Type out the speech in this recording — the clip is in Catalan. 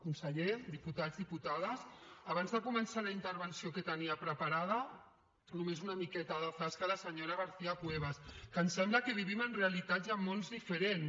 conseller diputats diputades abans de començar la intervenció que tenia preparada només una miqueta de zasca a la senyora garcía cuevas que em sembla que vivim en realitats i en mons diferents